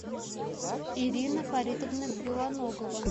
ирина фаритовна белоногова